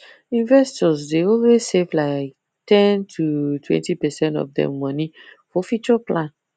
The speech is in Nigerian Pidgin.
investors dey always save like ten totwentypercent of dem money for future plan